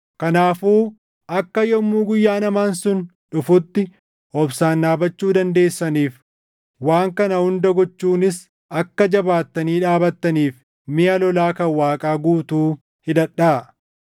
Kanaafuu akka yommuu guyyaan hamaan sun dhufutti obsaan dhaabachuu dandeessaniif, waan kana hunda gochuunis akka jabaattanii dhaabattaniif miʼa lolaa kan Waaqaa guutuu hidhadhaa.